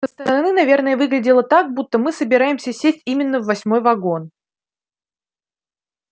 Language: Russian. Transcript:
со стороны наверное выглядело так будто мы собираемся сесть именно в восьмой вагон